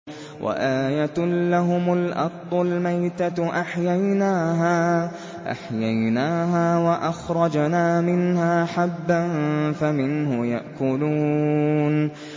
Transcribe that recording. وَآيَةٌ لَّهُمُ الْأَرْضُ الْمَيْتَةُ أَحْيَيْنَاهَا وَأَخْرَجْنَا مِنْهَا حَبًّا فَمِنْهُ يَأْكُلُونَ